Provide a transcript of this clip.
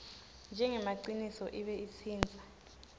njengemaciniso ibe itsintsa